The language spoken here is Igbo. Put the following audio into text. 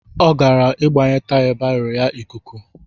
Ọ gara ịgbanye taya baro ya ikuku.